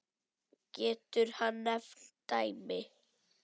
Getur hann nefnt dæmi?